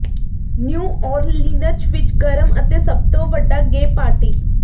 new Orleans ਵਿੱਚ ਗਰਮ ਅਤੇ ਸਭ ਤੋਂ ਵੱਡਾ ਗੇ ਪਾਰਟੀ